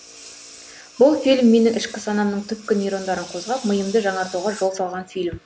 бұл фильм менің ішкі санамның түпкі нейрондарын қозғап миымды жаңартуға жол салған фильм